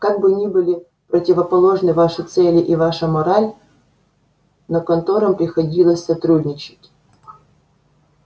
как бы ни были противоположны ваши цели и ваша мораль но конторам приходилось сотрудничать